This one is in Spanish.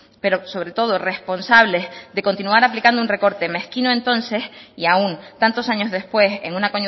pero sobre todo responsables de continuar aplicando un recorte mezquino entonces y aún tantos años después en una